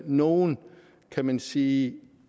nogle kan man sige